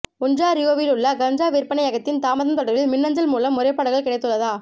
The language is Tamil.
ஒன்ராறியோவிலுள்ள கஞ்சா விற்பனையகத்தின் தாமதம் தொடர்பில் மின்னஞ்சல் மூலம் முறைப்பாடுகள் கிடைத்துள்ளதா